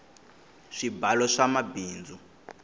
swibalo swa mabindzu